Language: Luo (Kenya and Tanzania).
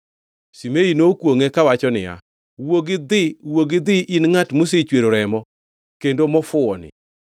Shimei nokwongʼe kawacho niya, “Wuog idhi, wuog idhi in ngʼat mosechwero remo, kendo mofuwoni.